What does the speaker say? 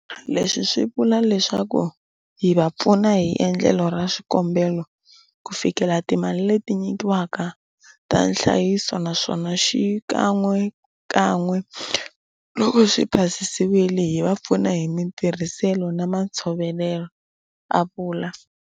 Leswi swi vula leswaku hi va pfuna hi endlelo ra swikombelo ku fikelela timali leti nyikiwaka ta nhlayiso naswona xikan'wekan'we loko swi pasisiwile, hi va pfuna hi matirhiselo na matshovelelo, a vula.